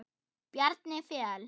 Bjarni Fel.